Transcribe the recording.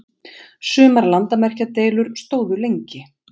Sumar landamerkjadeilur stóðu lengi.